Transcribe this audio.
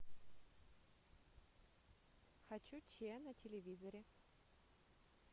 хочу че на телевизоре